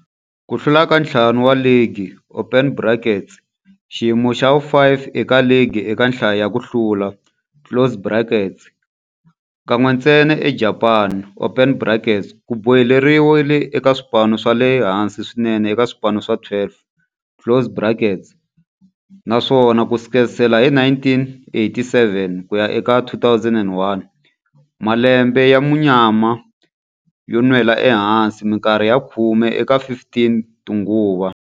Ku hlula ka ntlhanu wa ligi, xiyimo xa vu-5 eka ligi eka nhlayo ya ku hlula, kan'we ntsena eJapani, ku boheleriwile eka swipano swa le hansi swinene eka swipano swa 12, naswona ku sukela hi 1987 ku ya eka 2001, malembe ya munyama yo nwela ehansi minkarhi ya khume eka 15 tinguva.